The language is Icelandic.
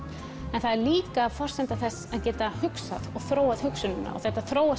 en það er líka forsenda þess að geta hugsað og þróað hugsunina og þetta þróast